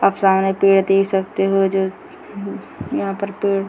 आप सामने पेड़ देख सकते हो जो यहां पर पेड़ --